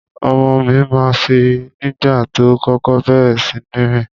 Ọmọ mi ma ń fì nígbà tó kókó bẹ̀rẹ̀ síní rìn.